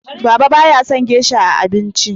Baba ba ya son gesha a abinci